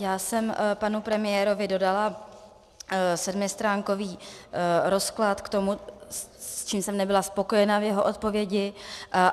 Já jsem panu premiérovi dodala sedmistránkový rozklad k tomu, s čím jsem nebyla spokojena v jeho odpovědi.